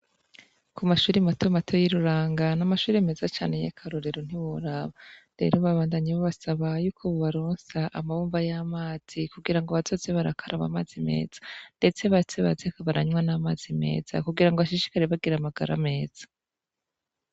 ku mashuri mato mato y'iruranga n'amashuri meza cyane y'e karorero n'iburaba rero babandanyi bo basaba yuko bubaronsa amabumba y'amazi kugira ngo abatotze barakaraba amazi meza ndetse batse baze kabaranywa n'amazi meza kugira ngo bashishikare bagira amagara meza